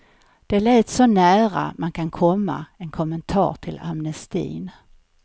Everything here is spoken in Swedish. Det lät så nära man kan komma en kommentar till amnestin.